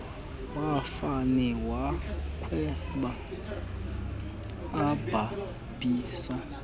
wafane wakhweba ebhabhisa